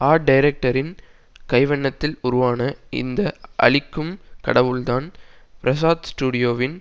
art டைரக்டரின் கைவண்ணத்தில் உருவான இந்த அழிக்கும் கடவுள்தான் பிரசாத் ஸ்டுடியோவின்